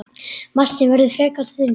Massinn verður frekar þunnur.